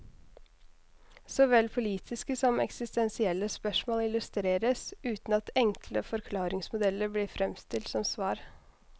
Såvel politiske som eksistensielle spørsmål illustreres, uten at enkle forklaringsmodeller blir fremstilt som svar.